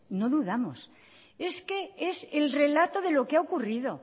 no dudamos es que es el relato de lo que ha ocurrido